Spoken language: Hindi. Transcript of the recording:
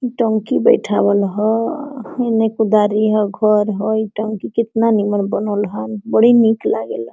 टंकी बइठावल ह हुने कुदारी ह घर है ई टंकी कितना नीमर बनल ह बड़ी निक लागेला।